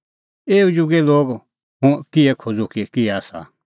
एऊ जुगे लोगा हुंह किहै खोज़ूं कि किहै आसा